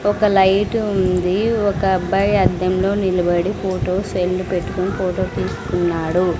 ఒక లైటు ఉంది ఒకబ్బాయి అద్దంలో నిలబడి ఫోటో సెల్లు పెట్టుకొని ఫోటో తీస్కున్నాడు.